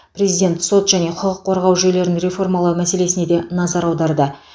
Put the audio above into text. президент сот және құқық қорғау жүйелерін реформалау мәселесіне де назар аударды